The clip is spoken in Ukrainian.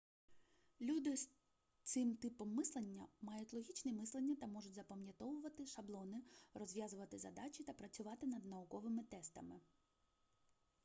люди з цим типом мислення мають логічне мислення та можуть запам'ятовувати шаблони розв'язувати задачі та працювати над науковими тестами